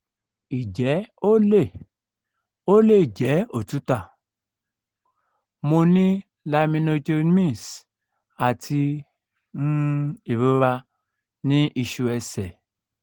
ije o le o le je otuta? mo ni laminectomies ati um irora ni isu ese